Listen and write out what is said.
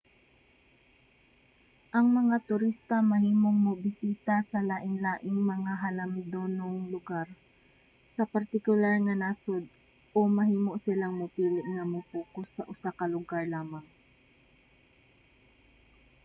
ang mga turista mahimong mobisita sa lainlaing mga halandomong lugar sa partikular nga nasod o mahimo silang mopili nga mo-pokus sa usa ka lugar lamang